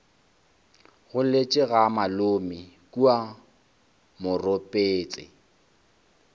goletše ga malome kua moropetse